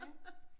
Ja